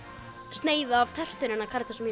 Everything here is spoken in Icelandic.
sneið af tertunni hennar Karítasar